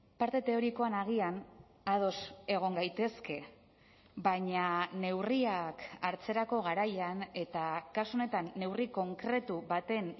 parte teorikoan agian ados egon gaitezke baina neurriak hartzerako garaian eta kasu honetan neurri konkretu baten